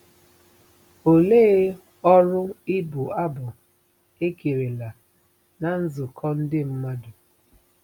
Olee ọrụ ịbụ abụ ekerela ná nzukọ ndị mmadụ?